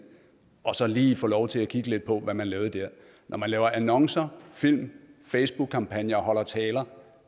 og så lige få lov til at kigge lidt på hvad man har lavet der når man laver annoncer film facebookkampagner og holder taler